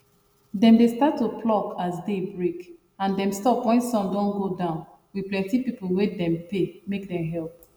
dem dey start to pluck as day break and dem stop wen sun don go down with people wey dem pay make dem help